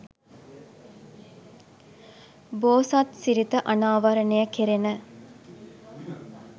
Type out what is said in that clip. බෝසත් සිරිත අනාවරණය කෙරෙන